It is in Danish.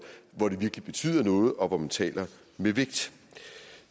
hvor det virkelig betyder noget og hvor man taler med vægt